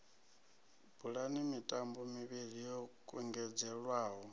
bulani mitambo mivhili yo kungedzelwaho